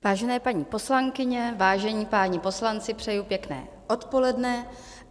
Vážené paní poslankyně, vážení páni poslanci, přeju pěkné odpoledne.